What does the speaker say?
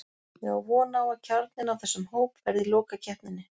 Ég á von á að kjarninn af þessum hóp verði í lokakeppninni.